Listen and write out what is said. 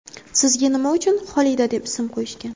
Sizga nima uchun Xolida deb ism qo‘yishgan?